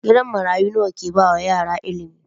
Gidan marayu yana baiwa yara ilimi.